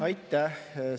Aitäh!